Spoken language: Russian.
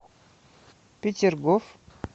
петергоф